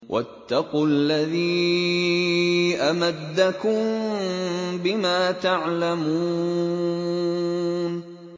وَاتَّقُوا الَّذِي أَمَدَّكُم بِمَا تَعْلَمُونَ